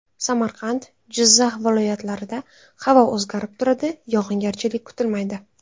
Samarqand, Jizzax viloyatlarida havo o‘zgarib turadi, yog‘ingarchilik kutilmaydi.